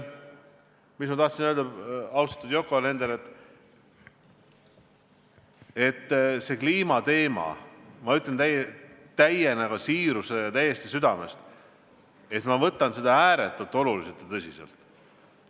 Punkt kaks on see, austatud Yoko Alender, et kliimateemat – ma ütlen seda täie siirusega ja täiesti südamest – ma võtan ääretult tõsiselt.